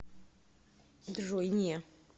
джой не